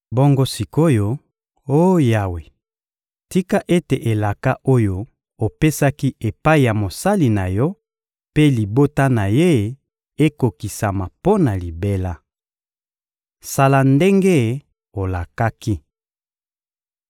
Bongo sik’oyo, oh Yawe, tika ete elaka oyo opesaki epai ya mosali na Yo mpe libota na ye ekokisama mpo na libela! Sala ndenge olakaki.